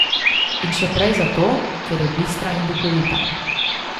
In še prej zato, ker je bistra in duhovita.